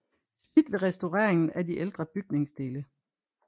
Smidt ved restaureringen af de ældre bygningsdele